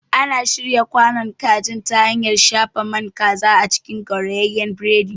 Ana shirya kwanon kaji ta hanyar shafa naman kaza a cikin gaurayeyen burodi.